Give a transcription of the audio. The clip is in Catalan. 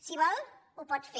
si vol ho pot fer